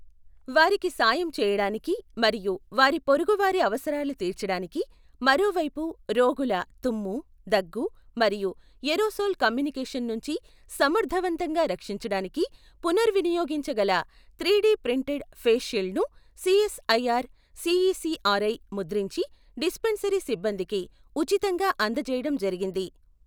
వారికి సాయం చేయడానికి మరియు వారి పొరుగు వారి అవసరాలు తీర్చడానికి మరో వైపు రోగుల తుమ్ము, దగ్గు మరియు ఏరోసోల్ కమ్యూనికేషన్ నుంచి సమర్థవంతంగా రక్షించడానికి పునర్వినియోగించగల త్రీడీ ప్రింటెడ్ ఫేస్ షీల్డ్ ను సిఎస్ఐఆర్ సిఈసిఆర్ఐ ముద్రించి డిస్పెన్సరీ సిబ్బందికి ఉచితంగా అందజేయడం జరిగింది.